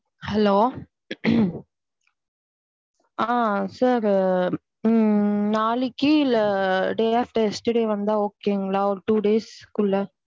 Hello sir நாளைக்கி இல்ல day after yesterday வந்தா okay ங்களா ஒரு two days க்கு உள்ள.